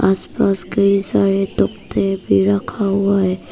आसपास कोई सारे तख्ते भी रखा हुआ है।